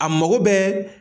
A mago bɛɛ.